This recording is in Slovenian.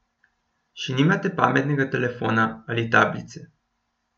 Še nimate pametnega telefona ali tablice?